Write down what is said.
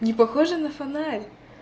не похожа на фонарь